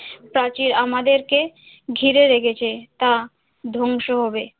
প্রাচীর আমাদেরকে ঘিরে রেখেছে তা ধ্বংস হবে।